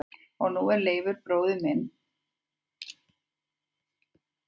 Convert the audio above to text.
Og nú er Leifur bróðir farinn frá mér úr grimmum táradalnum.